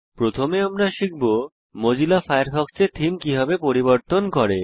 প্রথমে আমরা শিখব যে মোজিলা ফায়ারফক্সের থীম কিভাবে পরিবর্তন করে